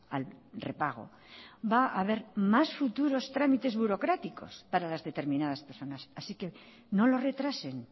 al repago va a haber más futuros trámites burocráticos para las determinadas personas así que no lo retrasen